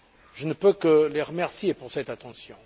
Je ne peux que les remercier pour cette attention.